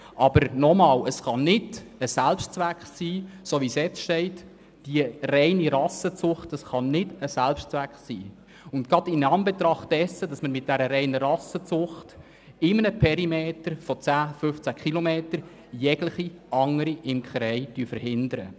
Aber noch einmal: Das Ziel kann nicht die reine Rassenzucht sein – gerade weil man bei der reinen Rassenzucht in einem Perimeter von 10, 15 km jegliche andere Imkerei verhindert.